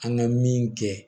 An ka min kɛ